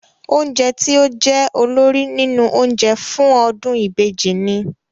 Oúnjẹ tí ó jẹ́ olórí nínú oúnjẹ fún ọdún ìbejì ni?